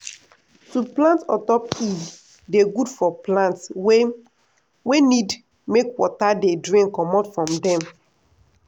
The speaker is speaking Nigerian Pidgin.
na broom handles wey don old we take make our planting sticks.